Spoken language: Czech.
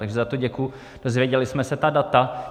Takže za to děkuji, dozvěděli jsme se ta data.